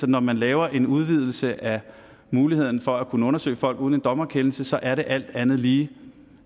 når man laver en udvidelse af muligheden for at kunne undersøge folk uden en dommerkendelse er det alt andet lige